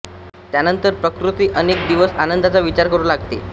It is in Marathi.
त्यानंतर प्रकृती अनेक दिवस आनंदाचा विचार करू लागते